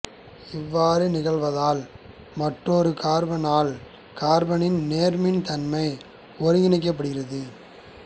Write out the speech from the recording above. இவ்வாறு நிகழ்வதால் மற்றொரு கார்பனைல் கார்பனின் நேர்மின் தன்மை ஒருங்கிணைக்கப்படுகிறது